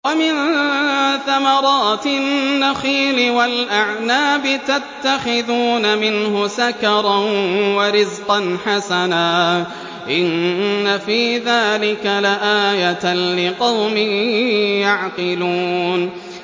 وَمِن ثَمَرَاتِ النَّخِيلِ وَالْأَعْنَابِ تَتَّخِذُونَ مِنْهُ سَكَرًا وَرِزْقًا حَسَنًا ۗ إِنَّ فِي ذَٰلِكَ لَآيَةً لِّقَوْمٍ يَعْقِلُونَ